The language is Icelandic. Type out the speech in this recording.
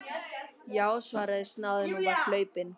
Já, svaraði snáðinn og var hlaupinn.